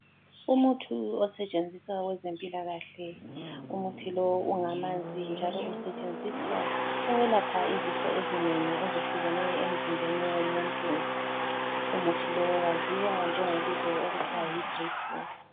Umuthi osetshenziswa kwezempilakahle. Umuthi lo ungamanzi njalo usetshenziswa ukwelapha izifo ezinengi ezehlukeneyo emzimbeni womuntu Umuthi lo waziwa njengobizo okuthwa yidriphu.